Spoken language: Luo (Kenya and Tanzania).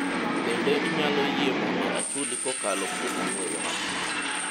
bende inyalo yie mondo achuli kokalo kuom ong'we yamo?